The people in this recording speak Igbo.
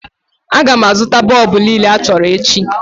A ga-azụta bọlbụ niile achọrọ echi